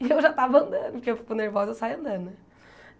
E eu já tava andando, porque eu fico nervosa, eu saio andando, né?